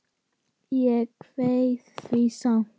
Ég kveið því samt.